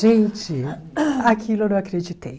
Gente, aquilo eu não acreditei.